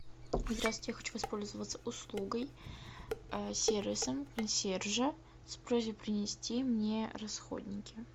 здравствуйте я хочу воспользоваться услугой сервисом консьержа с просьбой принести мне расходники